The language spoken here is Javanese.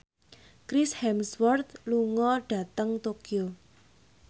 Chris Hemsworth lunga dhateng Tokyo